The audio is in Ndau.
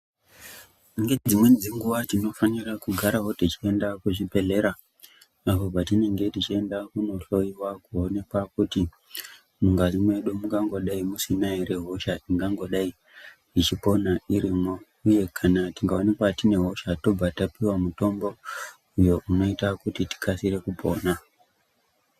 Ngedzimweni dzenguwa tinofanira kugarawo tichienda kuzvibhedhlera. Apo patinenge tichienda kunohloiwa kuoneka kuti mungazi mwedu mungangodai musina ere hosha ingangodai ichipona irimo uye kana tikaonekwa tine hosha tobva tapuwa mitombo uyo unoita kuti tikasire kupona.